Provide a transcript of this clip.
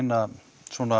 að